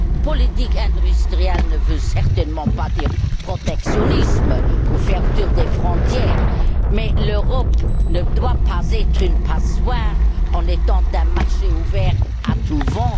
Politique industrielle ne veut certainement pas dire protectionnisme ou fermeture des frontières, mais l'Europe ne doit pas être une passoire en étant un marché ouvert à tout vent.